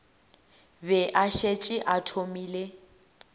be a šetše a thomile